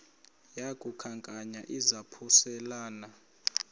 yaku khankanya izaphuselana